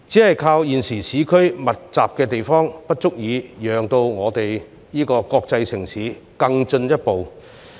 單靠現時在市區作密集發展，並不足以讓我們這個國際城市更進一步。